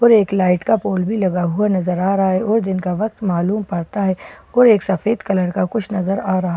और एक लाइट का पोल भी लगा हुआ नजर आ रहा है और जिनका वक्त मालूम पड़ता है और एक सफेद कलर का कुछ नजर आ रहा --